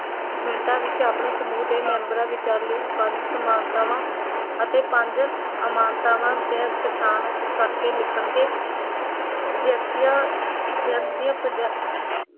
ਮਿੰਟਾਂ ਵਿੱਚ ਆਪਣੇ ਸਮੂਹ ਦੇ ਮੈਂਬਰਾਂ ਵਿਚਾਲੀਆਂ ਪੰਜ ਸਮਾਨਤਾਵਾਂ ਅਤੇ ਪੰਜ ਅਮਾਨਤਾਵਾਂ ਤੇ ਪਛਾਣ ਕਰਕੇ ਲਿਖਣਗੇ ਵਿਅਕਤੀਆਂ ਵਿਅਕਤੀਆਂ ਅਮ